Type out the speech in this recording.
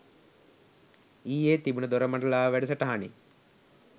ඊයේ තිබුන දොරමඩලාව වැඩසටහනෙ